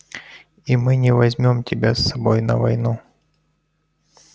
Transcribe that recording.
и мы не возьмём тебя с собой на войну